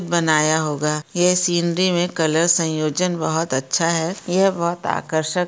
बनाया होगा। ये सीनरी मे कलर संयोजन बहोत अच्छा है। ये बहोत आकर्षक --